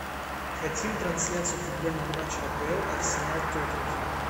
хотим трансляцию футбольного матча апл арсенал тоттенхэм